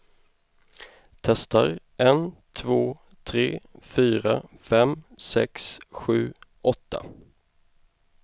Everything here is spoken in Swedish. Testar en två tre fyra fem sex sju åtta.